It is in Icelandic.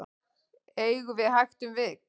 eigum við hægt um vik